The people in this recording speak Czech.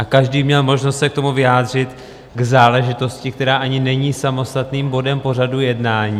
A každý měl možnost se k tomu vyjádřit, k záležitosti, která ani není samostatným bodem pořadu jednání.